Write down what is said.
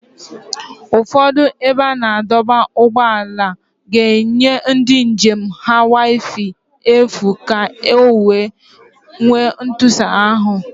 Ụfọdụ ebe a na-adọba ụgbọala ga-enye ndị njem ha wifi n'efu ka ọ wee nwee ntụsara ahụ